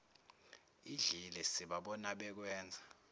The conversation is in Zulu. idlile sibabona bekwenza